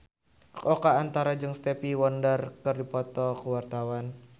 Oka Antara jeung Stevie Wonder keur dipoto ku wartawan